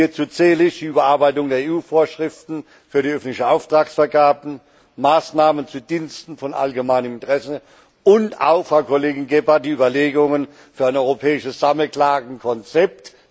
Hierzu zähle ich die Überarbeitung der EU Vorschriften für die öffentliche Auftragsvergabe, Maßnahmen zu den Diensten von allgemeinem Interesse und auch Frau Kollegin Gebhardt die Überlegungen für ein europäisches Sammelklagenkonzept.